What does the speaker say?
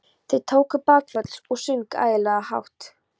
Þeir tóku bakföll og sungu ægilega hátt.